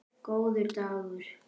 Góður dagur!